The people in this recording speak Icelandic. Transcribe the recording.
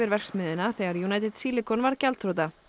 verksmiðjuna þegar United Silicon varð gjaldþrota